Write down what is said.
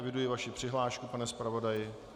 Eviduji vaši přihlášku, pane zpravodaji.